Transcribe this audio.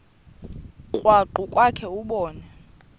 krwaqu kwakhe ubone